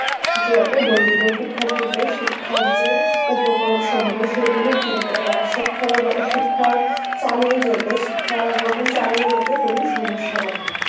যাতে দরিদ্দ্রর সিক্খাত্রীদের শিক্ষার যে উপকরণ সেগুলো কিনতে বা শিক্ষা শিক্ষার চালিয়ে যেতে শিক্ষা গ্রহণ চালিয়ে যেতে কোনো সমস্সা না হয়